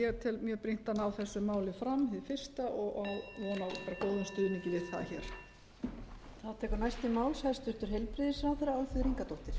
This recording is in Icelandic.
ég tel mjög brýnt að ná þessu máli fram hið fyrsta og á von á bara góðum stuðningi við það hér